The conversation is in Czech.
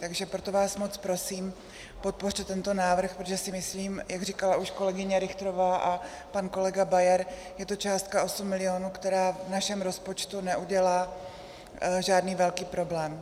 Takže proto vás moc prosím, podpořte tento návrh, protože si myslím, jak říkala už kolegyně Richterová a pan kolega Bauer, je to částka 8 milionů, která v našem rozpočtu neudělá žádný velký problém.